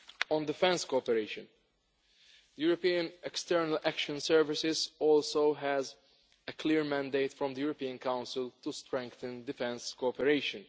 On defence cooperation the European External Action Service also has a clear mandate from the European Council to strengthen defence cooperation.